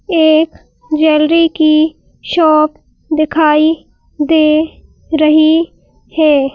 एक ज्वेलरी की शॉप दिखाई दे रही है।